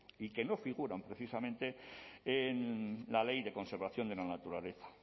y que no figuran precisamente en la ley de conservación de la naturaleza